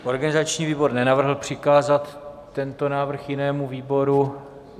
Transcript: Organizační výbor nenavrhl přikázat tento návrh jinému výboru.